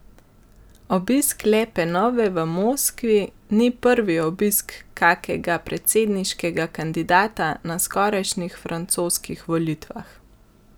Obisk Le Penove v Moskvi ni prvi obisk kakega predsedniškega kandidata na skorajšnjih francoskih volitvah.